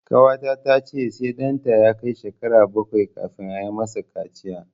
Ƙawata ta ce sai ɗanta ya kai shekara bakwai kafin ayi ma sa kaciya